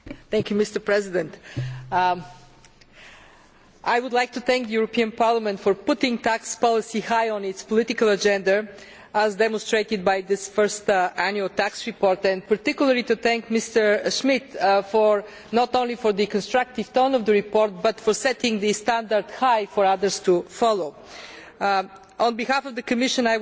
Mr President, I would like to thank the European Parliament for putting tax policy high on its political agenda as demonstrated by this first annual tax report and, particularly to thank Mr Schmidt, not only for the constructive tone of the report, but for setting the standard high for others to follow. On behalf of the Commission I would